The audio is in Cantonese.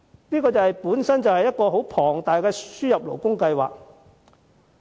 這計劃本身可說是一個龐大的輸入勞工計劃。